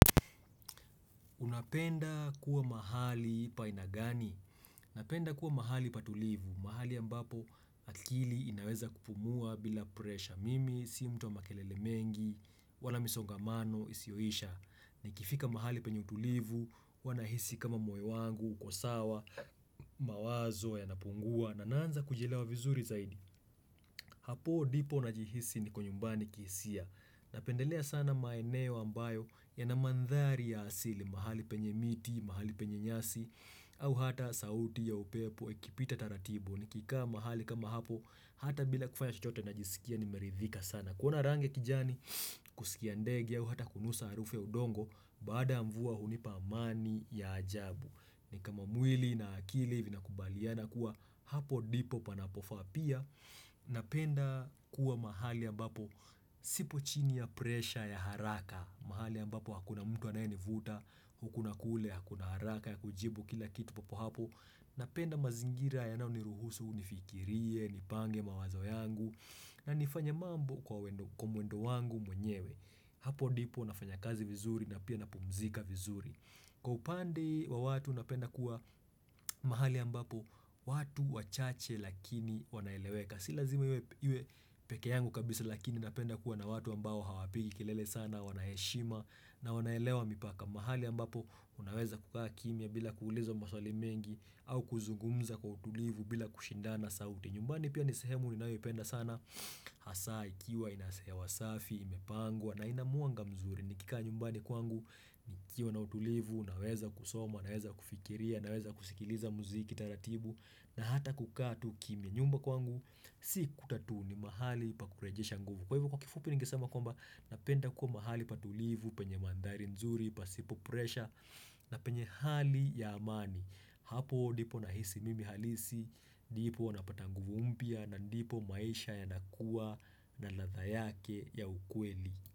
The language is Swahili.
Unapenda kuwa mahali pa aina gani? Napenda kuwa mahali patulivu. Mahali ambapo akili inaweza kupumua bila presha. Mimi si mtu wa makelele mengi, wala misongamano, isioisha. Nikifika mahali penye utulivu, huwa nahisi kama moyo wangu, uko sawa, mawazo, yanapungua na naanza kujielewa vizuri zaidi Hapo ndipo najihisi niko nyumbani kihisia Napendelea sana maeneo ambayo yana mandhari ya asili mahali penye miti, mahali penye nyasi au hata sauti ya upepo, ikipita taratibu Nikikaa mahali kama hapo, hata bila kufanya chochote najisikia nimeridhika sana kuona rangi kijani, kusikia ndege au hata kunusa harufu ya udongo baada ya mvua hunipa amani ya ajabu. Ni kama mwili na akili vinakubaliana kuwa hapo ndipo panapofaa pia Napenda kuwa mahali ambapo sipo chini ya presha ya haraka mahali ambapo hakuna mtu anayenivuta, huku na kule, hakuna haraka ya kujibu kila kitu papo hapo Napenda mazingira yanayoniruhusu nifikirie, nipange mawazo yangu na nifanye mambo kwa mwendo wangu mwenyewe hapo ndipo nafanya kazi vizuri na pia napumzika vizuri kwa upande wa watu napenda kuwa mahali ambapo watu wachache lakini wanaeleweka si lazima iwe peke yangu kabisa lakini napenda kuwa na watu ambao hawapigi kelele sana, wana heshima na wanaelewa mipaka. Mahali ambapo unaweza kukaa kimya bila kuulizwa maswali mengi au kuzungumza kwa utulivu bila kushindana sauti. Nyumbani pia ni sehemu ninayoipenda sana hasa ikiwa ina hewa safi, imepangwa na ina mwanga mzuri. Nikikaa nyumbani kwangu, nikiwa na utulivu, naweza kusoma, naweza kufikiria, naweza kusikiliza muziki taratibu na hata kukaa tu kimya. Nyumba kwangu, si kuta tu ni mahali pa kurejesha nguvu. Kwa hivyo kwa kifupi ningesema kwamba, napenda kuwa mahali patulivu penye mandhari nzuri, pasipo presha na penye hali ya amani. Hapo ndipo nahisi mimi halisi, ndipo napata nguvu mpya na ndipo maisha yanakua na ladha yake ya ukweli.